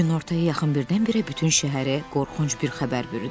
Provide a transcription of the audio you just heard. Günortaya yaxın birdən-birə bütün şəhəri qorxunc bir xəbər bürüdü.